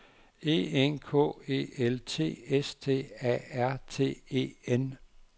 E N K E L T S T A R T E N